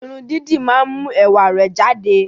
Irun dídì máa ń mú ẹwà rẹ jáde